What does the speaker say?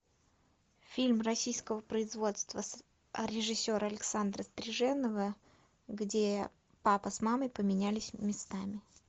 фильм российского производства режиссера александра стриженова где папа с мамой поменялись местами